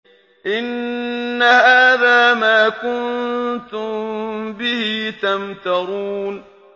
إِنَّ هَٰذَا مَا كُنتُم بِهِ تَمْتَرُونَ